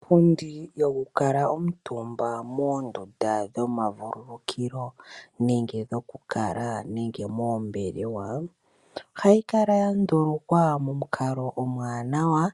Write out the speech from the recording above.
Iipundi yoku kala omutumba moondunda dhomavululukilo nenge dhokukala nenge moombelewa. Ohayi kala yandulukwa momukalo omwaanawa